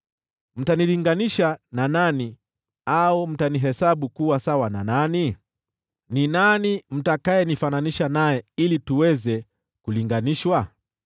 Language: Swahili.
“Mtanilinganisha na nani, au mtanihesabu kuwa sawa na nani? Ni nani mtakayenifananisha naye ili tuweze kulinganishwa?